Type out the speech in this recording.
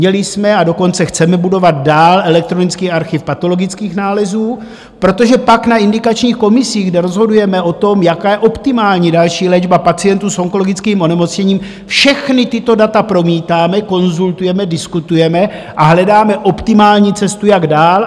Měli jsme, a dokonce chceme budovat dál elektronický archiv patologických nálezů, protože pak na indikačních komisích, kde rozhodujeme o tom, jaká je optimální další léčba pacientů s onkologickým onemocněním, všechna tato data promítáme, konzultujeme, diskutujeme a hledáme optimální cestu, jak dál.